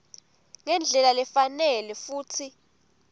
ngendlela lefanele futsi